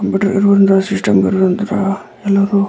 computer ನಲ್ಲಿ ಇರುವಂಥಹ system ಅಲ್ಲಿ ಇರುವಂತಹ ಎಲ್ಲರೂ--